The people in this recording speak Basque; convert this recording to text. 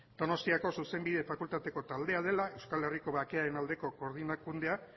donostiako zuzenbide fakultate taldea dela euskal herriko bakearen aldeko koordinakundea